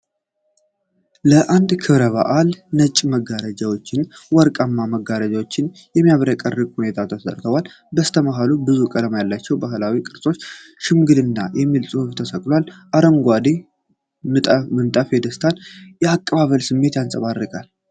ለአንድ ክብረ በዓል ነጭ መጋረጃዎችና ወርቃማ መጋረጃዎች በሚያብረቀርቅ ሁኔታ ተሰርተዋል። በስተመሀል ብዙ ቀለም ያላቸው ባህላዊ ቅርጫቶችና "ሽምግልና" የሚል ጽሑፍ ተሰቅሏል። አረንጓዴ ምንጣፉ የደስታንና የአቀባበልን ስሜት ያንጸባርቃል።